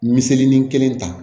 Miseli ni kelen ta